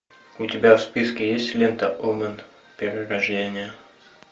у тебя в списке есть лента омен перерождение